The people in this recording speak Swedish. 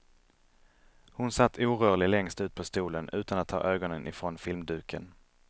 Hon satt orörlig längst ut på stolen utan at ta ögonen ifrån filmduken.